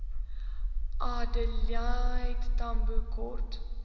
adelaide tambo kort